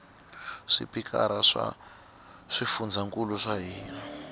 swipikara swa swifundzankulu swa hina